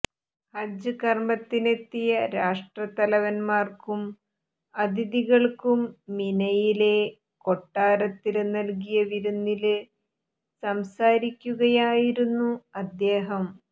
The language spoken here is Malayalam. ഹജ്ജ് കര്മത്തിനെത്തിയ രാഷ്ട്രത്തലവന്മാര്ക്കും അതിഥികള്ക്കും മിനയിലെ കൊട്ടാരത്തില് നല്കിയ വിരുന്നില് സംസാരിക്കുകയായിരുന്നു അദ്ദേഹം